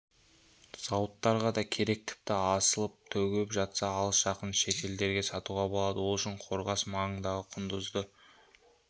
зауыттарға да керек тіпті асып-төгіліп жатса алыс-жақын шетелдерге сатуға болады ол үшін қорғас маңындағы құндызды